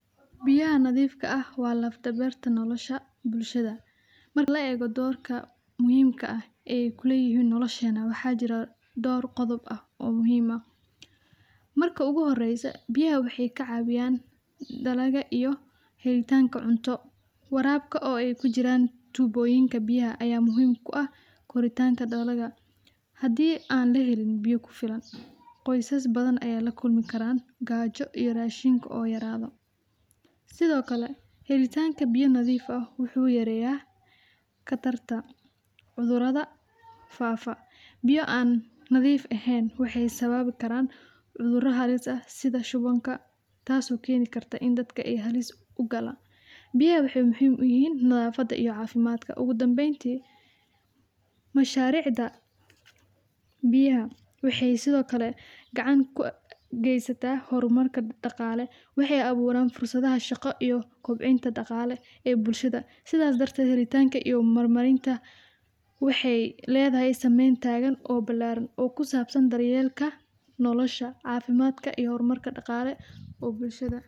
Biyaha nadifka ah wa laf dawarka nolosha bulshada, mar la ego dorka muhimka ah ee kuleyihin nolosha na waxaa jiraah dhowr qodob ah oo muhim ah . Marka uguhoreyso biyaha waxay kacawiyan dalaga iyo helitanka cunto, warabka oo ay kujiran tuboyinka biyaha ayaa muhim u ah koritanka dalaga. Hadi an lahelin biyo kufilan qoysas bathan aya lakulmi karan gajo iyo rashinka oo yarado. Sidhokale helitanka biyo nadif ah wuxu yareya qatarta cudurada faafa, biya an nadif ehen waxay sababi karan cudura halis ah sidha shuwanka tas oo keni karta in ay dadka halis u gala, biyaha waxay muhim uyihin nadafada iyo cafimadka. Ugu dambeynti masharicda biyaha waxay sidhokale gacan kugeysatah hormarka daqale waxay awuran fursadaha shaqo iyo kobcinta daqale bulshada, sidas darted helitanka iyo marmarinta waxey ledahay sameyn tagan oo bilaran kusabsan daryelka nolosha cafimadka iyo hormarka daqale oo bulshada.